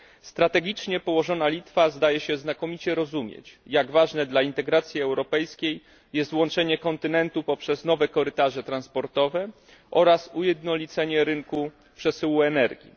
Strategicznie położona Litwa zdaje się znakomicie rozumieć, jak ważne dla integracji europejskiej jest łączenie kontynentu poprzez nowe korytarze transportowe oraz ujednolicanie rynku przesyłu energii.